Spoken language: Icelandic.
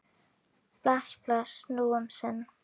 Bless, bless, nú um sinn.